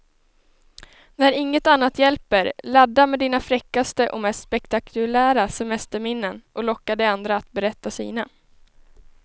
När inget annat hjälper, ladda med dina fräckaste och mest spektakulära semesterminnen och locka de andra att berätta sina.